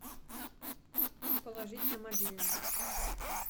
положить на мобильный